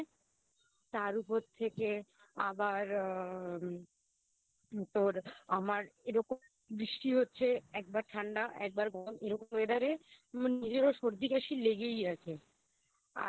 তার উপর থেকে আবার আ তোর আমার এরকম বৃষ্টি হচ্ছে একবার ঠান্ডা একবার গরম এরকম Weather এ আমার নিজেরও সর্দি কাশি লেগেই আছে